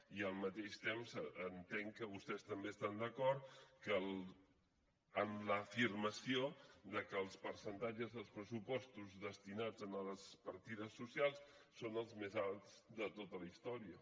i al mateix temps entenc que vostès també estan d’acord amb l’afirmació que els percentatges dels pressupostos destinats a les partides socials són els més alts de tota la història